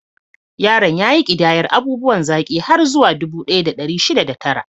Yaron ya ƙidayar abubuwan zaki har zuwa dubu ɗaya da ɗari shida da tara.